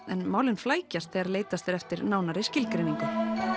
en málin flækjast þegar leitast er eftir nánari skilgreiningu